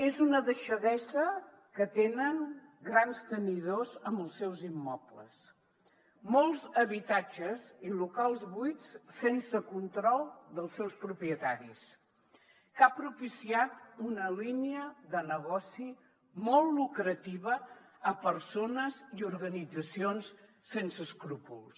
és una deixadesa que tenen grans tenidors amb els seus immobles molts habitatges i locals buits sense control dels seus propietaris que ha propiciat una línia de negoci molt lucrativa a persones i organitzacions sense escrúpols